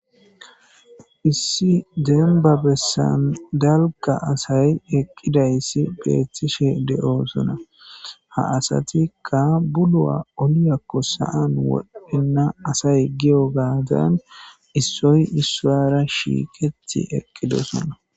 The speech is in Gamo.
Issi dembba besan dalgga asay eqqidayssi beetishe de'osona. Ha asatika bulluwa olliyakko sa'an wodhena asay giyogaadan issoy issuwara shiiqeti eqqidosona.